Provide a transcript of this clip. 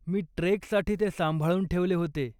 मी ट्रेकसाठी ते सांभाळून ठेवले होते.